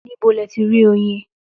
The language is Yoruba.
Ní bo lẹ tí rí oyin?